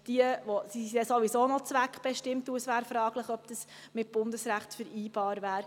Diese sind sowieso zweckbestimmt, und es wäre fraglich, ob dies mit dem Bundesrecht vereinbar wäre.